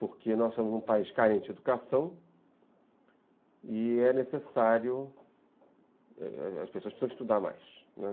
porque nós somos um país carente de educação e é necessário, as as pessoas precisam estudar mais, né.